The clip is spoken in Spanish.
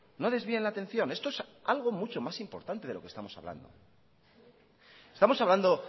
no desvíen la atención esto es algo mucho más importante de lo que estamos hablando estamos hablando